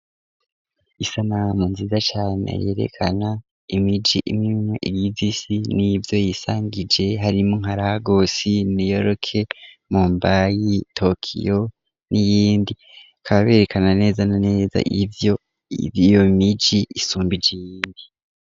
Isanamu nziza cane yerekana imiji imwimwe igize isi n'ivyo yisangije harimwo nka Lagos, New york, Mombai, Tokyo, n'iyindi, bakaba berekana neza na neza ivyo iyo miji isumbije iyindi.